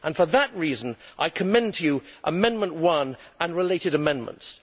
For that reason I commend to you Amendment No 1 and related amendments.